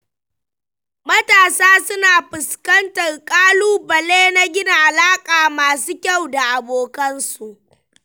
Matasa suna fuskantar ƙalubale na gina alaƙa masu kyau da abokansu.